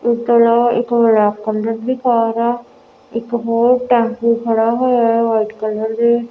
ਇੱਕ ਕਲਰ ਇੱਕ black colour ਦੀ ਕਾਰ ਆ ਇੱਕ ਹੋਰ ਟੈਂਪੂ ਖੜਾ ਹੋਇਆ ਏ ਆ ਵਾਈਟ ਕਲਰ ਦੇ।